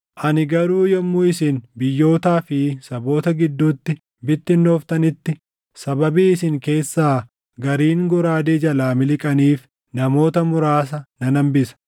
“ ‘Ani garuu yommuu isin biyyootaa fi saboota gidduutti bittinnooftanitti sababii isin keessaa gariin goraadee jalaa miliqxaniif, namoota muraasa nan hambisa.